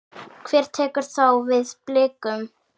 Hver tekur þá við Blikum?